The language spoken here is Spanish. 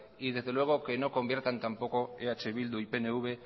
y desde luego que no conviertan tampoco eh bildu y pnv